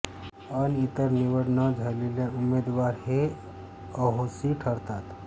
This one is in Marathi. अन इतर निवड न झालेले उमेदवार हे अहोसी ठरतात